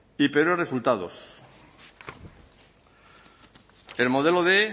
y peores resultados el modelo quinientos